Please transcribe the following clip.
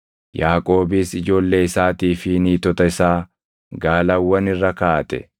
Yaaqoobis ijoollee isaatii fi niitota isaa gaalawwan irra kaaʼate;